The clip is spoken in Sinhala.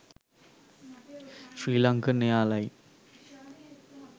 srilankan airline